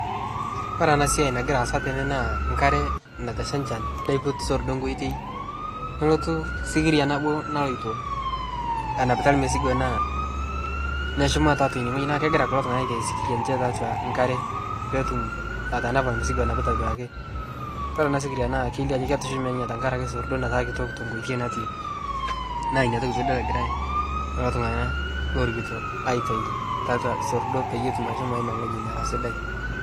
Ore ntokii nagira aasa tene naa nkaare nateshaa nchaan neipuut soordo nkotei nolutuu sikiria naboo nailotoo anapitaa msigoo naa neshumaa te atua newueji, naa kegira kuloo ltung'ana aiteei sikiria enchee te atua nkaare pee etuum atanapaa msigoo lonapitaa duake. Idool ana sikiria na keileo ajoo ketushuumee ninyee tang'araki soordoo nataa kitook te nkotei natii . Naa enia ntokii pii idool egirai leloo ltung'ana loorikitoo aitaai te atua soordo peiye etuum aimaa ng'ojii neraa sidai.